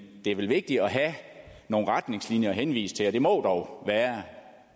det er vel vigtigt at have nogle retningslinjer at henvise til og det må dog være